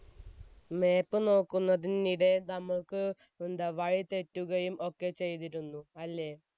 map നോക്കുന്നതിനിടക്ക് എന്താ നമുക്ക് വഴി തെറ്റുകയും ഒക്കെ ചെയ്തിരുന്നു. അല്ലേ?